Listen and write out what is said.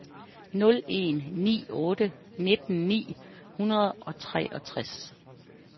nul en ni otte nitten ni hundrede og treogtres